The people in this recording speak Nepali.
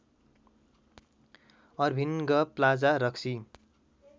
अर्भिन्ग प्लाजा रक्सी